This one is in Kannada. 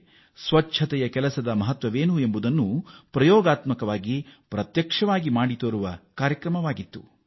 ಆದರೆ ಸ್ವಚ್ಛತೆಯ ಮಹತ್ವವನ್ನು ತೆಲಂಗಾಣದ ವಾರಂಗಲ್ ನಲ್ಲಿ ಪ್ರತ್ಯಕ್ಷವಾಗಿಯೂ ಮಾಡಿ ತೋರಿಸಲಾಯಿತು